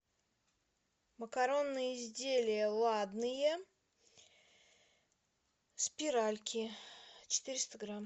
макаронные изделия ладные спиральки четыреста грамм